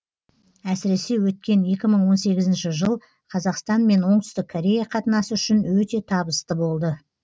әсіресе өткен екі мың он сегізінші жыл қазақстан мен оңтүстік корея қатынасы үшін өте табысты болды